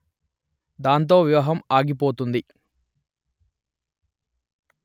దాంతో వివాహం ఆగి పోతుంది